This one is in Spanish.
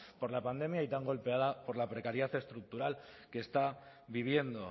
por la pandemia y tan golpeada por la precariedad estructural que está viviendo